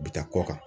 U bi taa kɔ kan